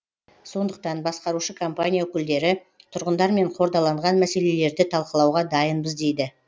сондықтан басқарушы компания өкілдері тұрғындармен қордаланған мәселелерді талқылауға дайынбыз дейді